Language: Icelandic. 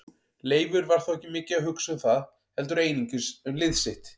Leifur var þó ekki mikið að hugsa um það heldur einungis um lið sitt.